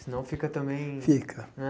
Senão fica também... Fica. Né